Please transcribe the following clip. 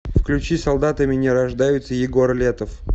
включи солдатами не рождаются егор летов